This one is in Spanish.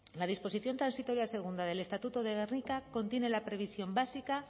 la disposición transitoria segunda del estatuto de gernika contiene la previsión básica